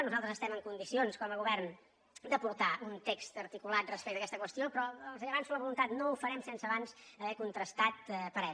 nosaltres estem en condicions com a govern d’aportar un text articulat respecte a aquesta qüestió però els avanço la voluntat no ho farem sense abans haver contrastat parers